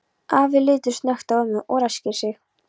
Afi lítur snöggt á ömmu og ræskir sig.